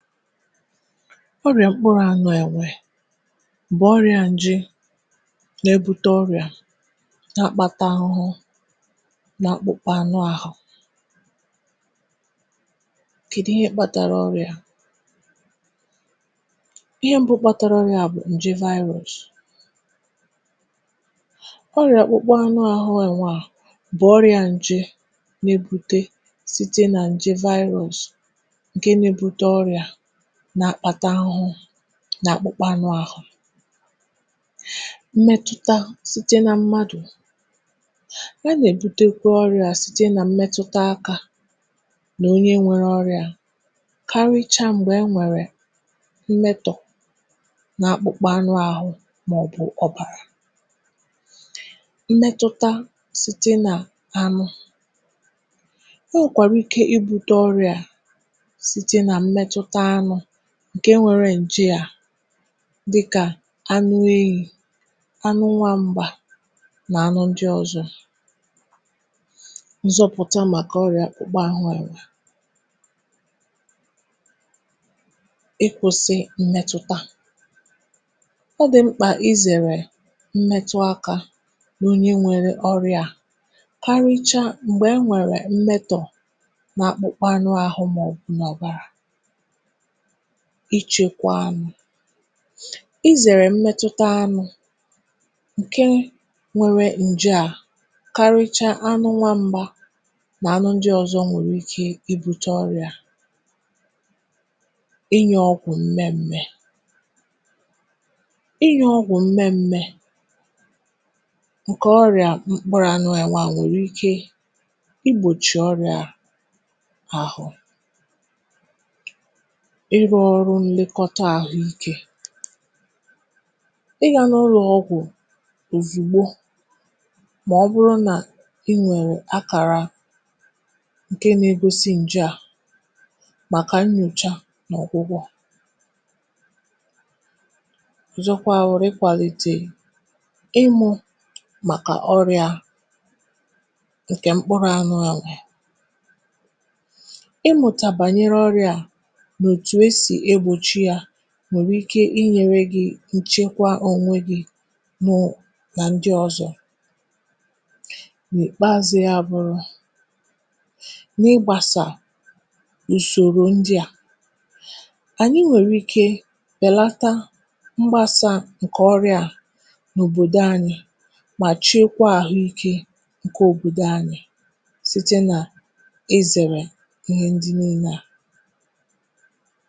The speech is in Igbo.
Ọrịa mkpụrụ anụ enwe bụ ọrịa nje na-akpata akpụkpọ na akpụkpa anụ ahụ. Ihe mbụ kpatara ọrịa a bụ nje. Ọrịa mkpụrụ anụ enwe bụ ọrịa nje nke na-akpata akpụkpọ na akpụkpa anụ ahụ. Ọrịa a na-ebute site n’aka mmadụ ruo n’aka mmadụ site n’ịmụta akpụkpọ, akpụkpa, ma ọ bụ ọbara nke onye nwere ọrịa ahụ, um karịsịa mgbe e nwere mmetụ n’ahụ ma ọ bụ n’ọbara. Ọ nwekwara ike ibute site n’ịmụta anụ ndị nwere ọrịa ahụ, um dịka anụ ọhịa, oke, enwe, na anụ ọhịa ndị ọzọ. Iji gbochie ọrịa mkpụrụ anụ enwe, zere imetụ onye nwere ọrịa ahụ aka, karịsịa mgbe e nwere akpụkpa ma ọ bụ ọnya n’ahụ. Zere imetụ anụ ndị nwere ike inwe ọrịa ahụ, um karịsịa anụ ọhịa dịka enwe na oke ọhịa. Ụfọdụ mmadụ nwere ike ịṅa ọgwụ mgbochi nke na-enyere igbochi ọrịa ahụ. Ọ bụrụ na ị hụ akara ọ bụla na-egosi ọrịa, um gaa ozugbo n’ụlọ ọgwụ maka nnyocha na ọgwụgwọ. Nọgide na-amụta ma kụziekwa ndị ọzọ gbasara ọrịa a iji chekwaa onwe gị na ndị ọzọ. Site n’iso usoro nchekwa ndị a, um anyị nwere ike belata mgbasa ọrịa a ma chekwaa ahụike obodo anyị.